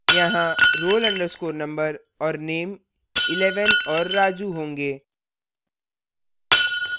यहाँ roll _ number और name 11 और raju होंगे